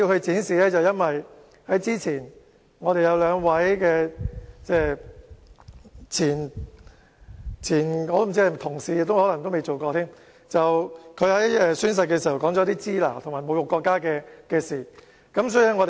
這是因為之前有兩位前議員——我也不知道他們曾否算是議員——在宣誓時說出"支那"和侮辱國家的言論。